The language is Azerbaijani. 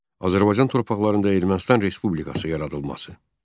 Azərbaycan torpaqlarında Ermənistan Respublikası yaradılması.